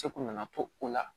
Seko nanan to o la